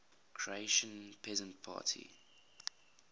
croatian peasant party